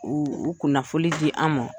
U u kunnafoli di an ma.